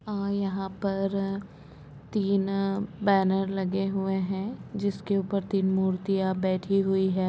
यहाँ पर तीन बैनर लगे हुए है जिसके ऊपर तीन मुर्तिया बैठी हुई है।